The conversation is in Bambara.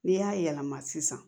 N'i y'a yɛlɛma sisan